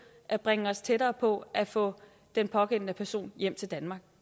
at bringe os tættere på at få den pågældende person hjem til danmark